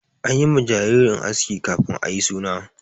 An yi ma jinjirar aski kafin ayi suna.